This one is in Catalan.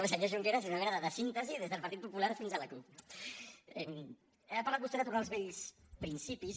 el senyor junqueras és una mena de síntesi des del partit popular fins a la cup no ha parlat vostè de tornar als vells principis